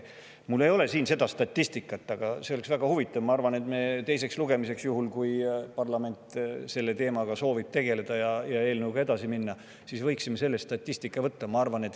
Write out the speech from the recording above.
Mul ei ole siin sellekohast statistikat, aga ma arvan, et see oleks väga huvitav, kui me teise lugemise ajaks – juhul kui parlament soovib selle teemaga tegeleda ja eelnõuga edasi minna – selle statistika kaasa võtaksime.